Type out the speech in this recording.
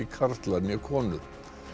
karlar né konur